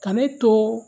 Ka ne to